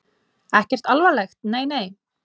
Ekkert alvarlegt, nei nei.